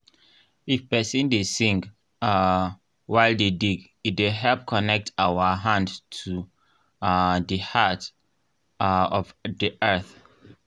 if person dey sing um while dey dig e dey help connect our hand to um the heart um of the earth.